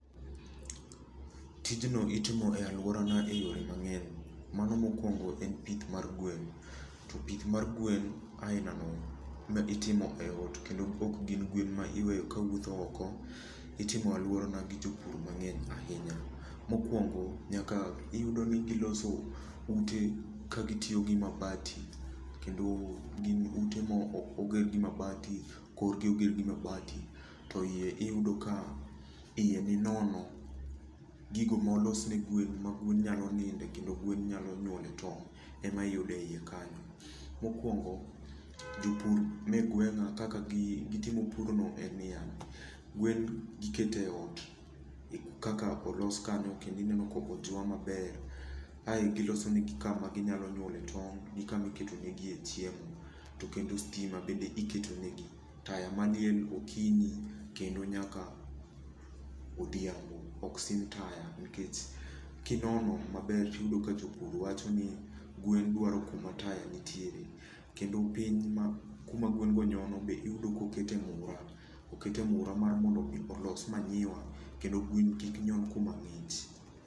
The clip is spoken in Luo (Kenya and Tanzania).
Tij no itimo e alworana e yore mang'eny. Mano mokuongo e pith mar gwen. To pith mar gwen aila no, ma itimo e ot, kendo ok gin gwen ma iweyo ka wuotho oko, itimo e alwora na gi jopur mang'eny ahinya. Mokuongo, nyaka iyudo ni giloso ute ka gitiyo gi mabati kendo gin ute ma oko oger gi mabati, korgi oger gi mabati, to iye iyudo ka iye ni nono. Gigo molos ne gwen ma gwen nyalo ninde kendo gwen nyalo nyuole to ema iyudo e iye kanyo. Mokuongo, jopur ma e gweng'a kaka gitimo pur no en ni ya, gwen giketo ei ot. Kaka olos kanyo kendo ineno ka ojwa maber. Ae giloso negi kama ginyalo nyuole tong', gi kama iketo negi e chiemo. To kendo stima bende iketo negi. Taya maliel okinyi, kendo nyaka odhiambo. Oksim taya nikech kinono maber tiyudo ka jopur wacho ni gwen dwaro kuma taya nitie. Kendo piny ma kuma gwen go nyono be iyudo kokete ng'ura. Okete ng'ura mar mondo olos manyiwa kendo gwen kik nyon kuma ng'ich.